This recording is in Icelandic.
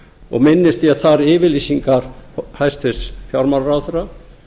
og minnist ég þar yfirlýsingar hæstvirtur fjármálaráðherra